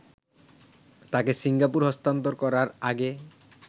তাকে সিঙ্গাপুরে স্থানান্তর করার আগে